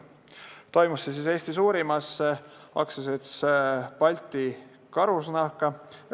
See toimus Eesti suurimas karusloomakasvanduses, AS-is Balti Karusnahk.